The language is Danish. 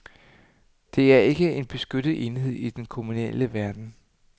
Det er ikke en beskyttet enhed i den kommunale verden.